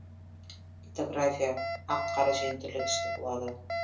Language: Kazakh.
литография ақ қара және түрлі түсті болады